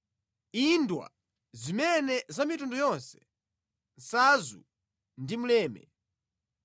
indwa, zimeza za mitundu yonse, nsadzu ndi mleme.